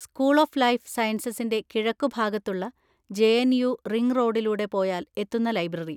School of life സയൻസസിൻ്റെ കിഴക്കുഭാഗത്തുള്ള J. N. U ring റോഡിലൂടെ പോയാൽ എത്തുന്ന ലൈബ്രറി.